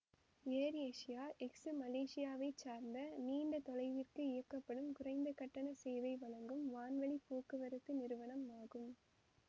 AirAsia X மலேசியாவைச் சார்ந்த நீண்ட தொலைவிற்கு இயக்கப்படும் குறைந்த கட்டண சேவை வழங்கும் வான்வழி போக்குவரத்து நிறுவனம் ஆகும்